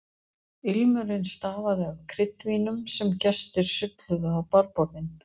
Ilmurinn stafaði af kryddvínum sem gestir sulluðu á barborðin.